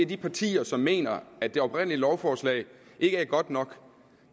de partier som mener at det oprindelige lovforslag ikke er godt nok